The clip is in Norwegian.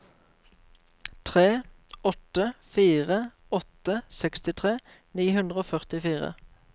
tre åtte fire åtte sekstitre ni hundre og førtifire